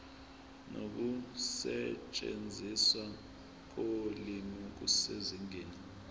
nokusetshenziswa kolimi kusezingeni